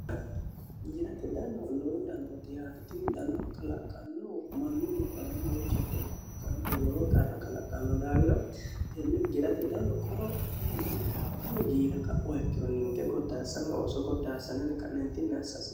jirate dano lowo danooti yaatotinni dano kalaqqanno mannu lubbaani lowo jatto kalaqqanno wolowo qarra galaqanno daawira tenne girate dalo qorophotenni tini giira ka'waikkiro ninke goddaassanyi ooso goddaassanani ka'neentinni assaase